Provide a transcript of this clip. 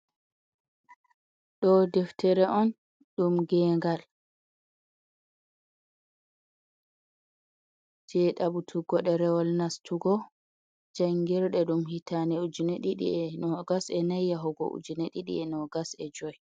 Ɗo deftere on ɗum ngengal, je ɗaɓutugo ɗerewol nastugo jangirde ɗum hitaande ujune ɗiɗi e nogas e nayi, yahugo ujune ɗiɗi e nogas e joyi.